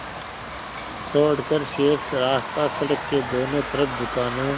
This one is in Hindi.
छोड़कर शेष रास्ता सड़क के दोनों तरफ़ दुकानों